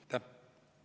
Aitäh!